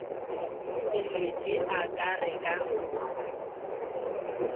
selete a ka re ka